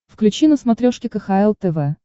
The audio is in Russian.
включи на смотрешке кхл тв